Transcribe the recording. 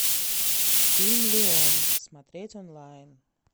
фильм леон смотреть онлайн